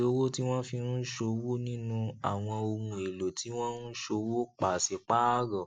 iye owó tí wọn fi ń ṣòwò nínú àwọn ohun èlò tí wọn ń ṣòwò paṣipaarọ